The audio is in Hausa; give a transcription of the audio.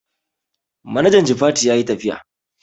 Manajan jifatu yayi tafiya